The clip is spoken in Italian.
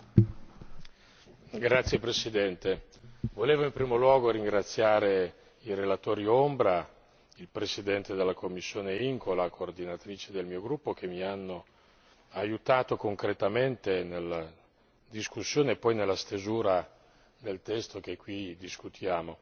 Signor Presidente, onorevoli colleghi, volevo in primo luogo ringraziare i relatori ombra, il presidente della commissione IMCO e la coordinatrice del mio gruppo, che mi hanno aiutato concretamente nella discussione e poi nella stesura del testo che qui discutiamo.